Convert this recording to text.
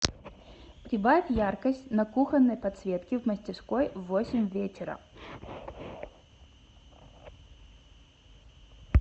прибавь яркость на кухонной подсветке в мастерской в восемь вечера